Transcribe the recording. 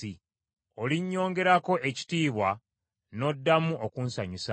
Olinnyongerako ekitiibwa n’oddamu okunsanyusa.